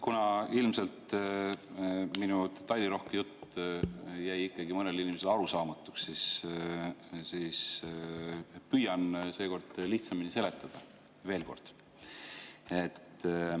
Kuna ilmselt minu detailirohke jutt jäi ikkagi mõnele inimesele arusaamatuks, siis ma püüan seekord lihtsamini seletada, veel kord.